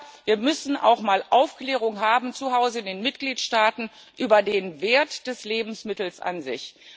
Aber wir müssen auch mal Aufklärung haben zu Hause in den Mitgliedstaaten über den Wert eines Lebensmittels an sich.